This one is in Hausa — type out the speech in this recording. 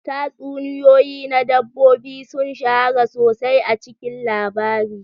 Tatsuniyoyi na dabbobi sun shahara sosai a cikin labari.